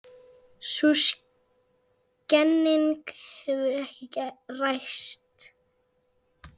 Sú kenning hefur ekki ræst.